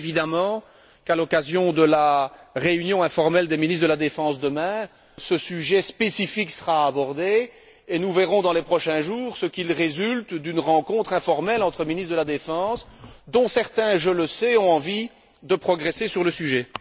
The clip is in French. Bien évidemment, à l'occasion de la réunion informelle des ministres de la défense de demain, ce sujet spécifique sera abordé, et nous verrons dans les prochains jours ce qu'il résulte d'une rencontre informelle entre ministres de la défense dont certains, je le sais, ont envie de progresser sur le sujet.